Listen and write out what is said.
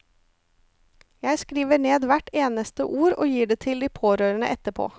Jeg skriver ned hvert eneste ord, og gir det til de pårørende etterpå.